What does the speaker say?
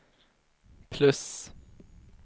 plus